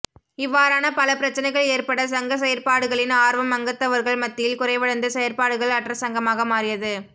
இவ்வாறான பல பிரச்சினைகள் ஏற்பட சங்க செயற்பாடுகளின் ஆர்வம் அங்கத்தவர்கள் மத்தியில் குறைவடைந்து செயற்பாடுகள் அற்ற சங்கமாக மாறியது